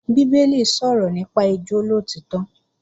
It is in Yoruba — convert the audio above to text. Bíbélì sọ̀rọ̀ nípa ìjólóòtọ́